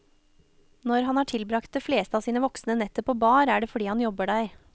Når han har tilbragt det fleste av sine voksne netter på bar, er det fordi han jobber der.